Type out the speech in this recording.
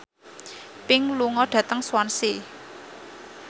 Pink lunga dhateng Swansea